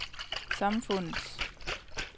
samfundets